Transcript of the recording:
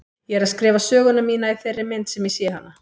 Ég er að skrifa söguna mína í þeirri mynd sem ég sé hana.